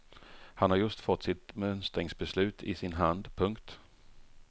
Han har just fått sitt mönstringsbeslut i sin hand. punkt